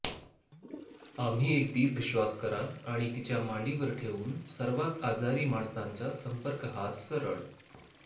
आम्ही एक दीर्घ श्वास करा आणि तिच्या मांडीवर ठेवून सर्वात आजारी माणसांचा संपर्क हात सरळ